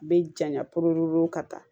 Bɛ janya pepero ka taa